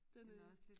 Den øh